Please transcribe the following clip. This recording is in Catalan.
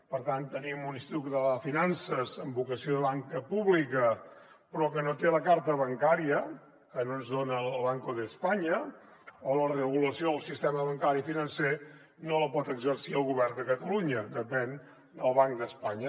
per tant tenim un institut català de finances amb vocació de banca pública però que no té la carta bancària que no ens dona el banco de españa o la regulació del sistema bancari financer no la pot exercir el govern de catalunya depèn del banc d’espanya